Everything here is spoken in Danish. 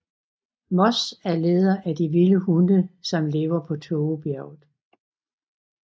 Moss er leder af de vilde hunde som lever på Tågebjerget